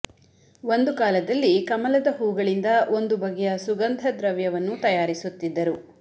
ಒಂದು ಕಾಲದಲ್ಲಿ ಕಮಲದ ಹೂಗಳಿಂದ ಒಂದು ಬಗೆಯ ಸುಗಂಧ ದ್ರವ್ಯವನ್ನು ತಯಾರಿಸುತ್ತಿದ್ದರು